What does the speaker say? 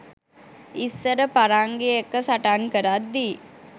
ඉස්සර පරංගි එක්ක සටන් කරද්දී